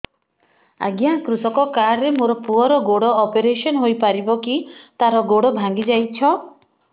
ଅଜ୍ଞା କୃଷକ କାର୍ଡ ରେ ମୋର ପୁଅର ଗୋଡ ଅପେରସନ ହୋଇପାରିବ କି ତାର ଗୋଡ ଭାଙ୍ଗି ଯାଇଛ